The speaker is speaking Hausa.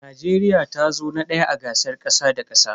Najeriya tazo na daya a gasar kasa da kasa.